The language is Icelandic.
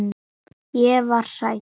Ég var hrædd.